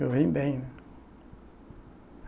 Eu vim bem, né.